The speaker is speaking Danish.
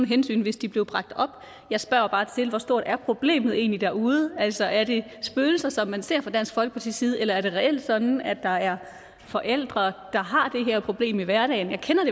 hensyn hvis det blev bragt op jeg spørger bare til hvor stort problemet egentlig er derude altså er det spøgelser som man ser fra dansk folkepartis side eller er det reelt sådan at der er forældre der har det her problem i hverdagen jeg kender